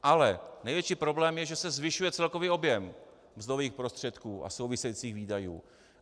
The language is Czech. Ale největší problém je, že se zvyšuje celkový objem mzdových prostředků a souvisejících výdajů.